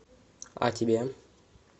а тебе